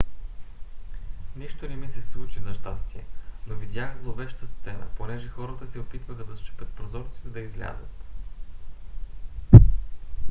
нищо не ми се случи за щастие но видях зловеща сцена понеже хората се опитваха да счупят прозорци за да излязат